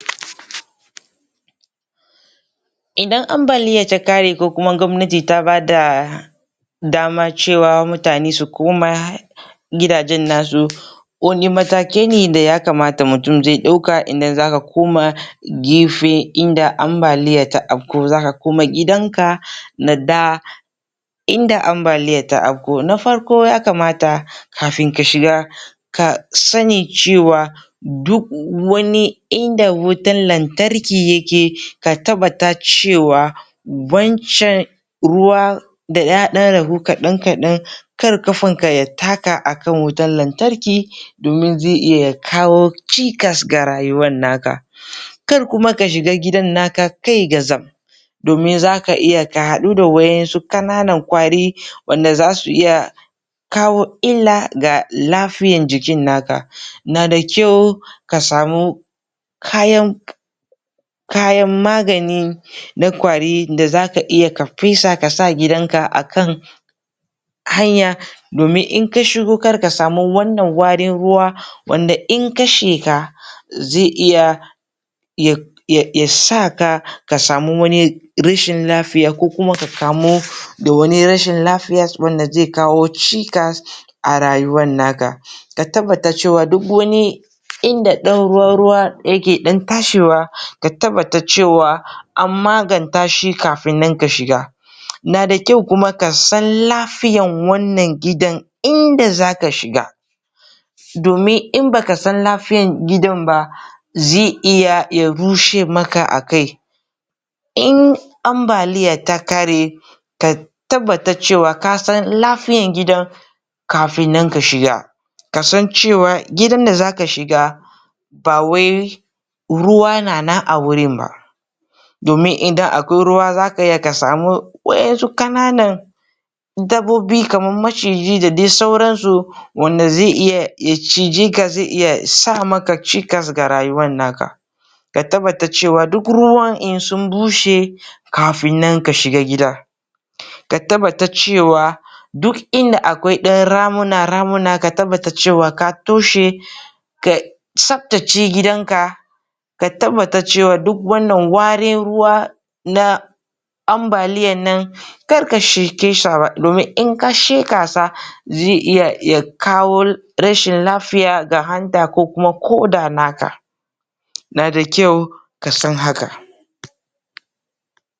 Idan ambaliya ta ƙare ko kuma gwamnati ta bada dama cewa mutane su koma gidajen nasu wanne matakai ne da ya kamata mutum zai ɗauka idan zaka koma gefe inda ambaliya ta afku, zaka koma gidanka na da inda ambaliya ta afku, na farko ya kamata kafin ka shiga ka sanni cewa duk wani inda wutan lantarki yake, ka tabbata cewa wancan ruwa da ya ɗan ragu kaɗan-kaɗan kar ƙafan ka ya taka akan wutan lantarki domin zai iya ya kawo cikas ga rayuwan naka kar kuma ka shiga gidan naka kai gatsam domin zaka iya ka haɗu da wa'insu ƙananan ƙwari wanda zasu iya kawo illa ga lafiyar jikin naka nada kyau ka samu kayan kayan maganin na ƙwari da zaka iya ka fesa ka sa gidanka akan hanya domin in ka shigo kar ka sami wannan warin ruwa wanda in ka sheƙa zai iya ya ya saka ka sami wani rashin lafiya ko kuma ka kamu da wani rashin lafiyas wanda zai kawo cikas a rayuwan naka ka tabbata cewa duk wani inda ɗan ruwa-ruwa yake ɗan tashewa ka tabbata cewa an maganta shi kafin ka shiga nada kyua kuma ka san lafiyar wannan gidan inda zaka shiga domin in baka san lafiyar gidan ba zai iya ya rushe maka akai inn ambaliya ta ƙare ka tabbata cewa kasan lafiyan gidan kafin nan ka shiga ka san cewa gidan da zaka shiga ba wai ruwa na nan a wurin ba domin idan akwai ruwa zaka iya ka samu wa'insu ƙananan dabbobi kamar maciji da dai sauran su wanda zai iya ya cije ka zai iya sa maka cikas ga rayuwan naka ka tabbata cewa duk ruwan in sun bushe kafin nan ka shiga gida ka tabbata cewa duk inda akwai ɗan ramuna-ramuna ka tabbata cewa ka toshe ka tsaftace gidanka ka tabbata cewa duk wannan warin ruwa na ambaliyan nan kar ka shaƙe sa domin in ka shaƙe sa zai iya ya kawo rashin lafiya ga hanta ko kuma ƙoda naka